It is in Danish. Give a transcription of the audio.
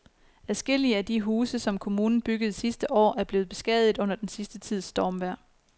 Adskillige af de huse, som kommunen byggede sidste år, er blevet beskadiget under den sidste tids stormvejr.